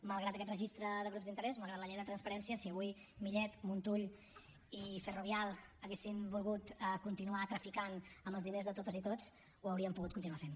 malgrat aquest registre de grups d’interès malgrat la llei de transparència si avui millet montull i ferrovial haguessin volgut continuar traficant amb els diners de totes i tots ho haurien pogut continuar fent